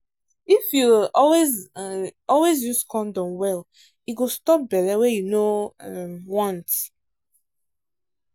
if you um always um always use condom well e go stop belle wey you no um want.